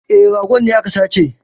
E, ragon ne aka sace